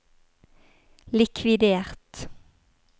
likvidert